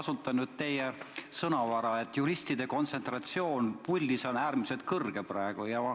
Ma lähtun teie sõnadest, et juristide kontsentratsioon komisjonis on praegu äärmiselt suur.